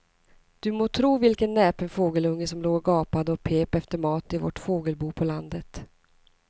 Du må tro vilken näpen fågelunge som låg och gapade och pep efter mat i vårt fågelbo på landet.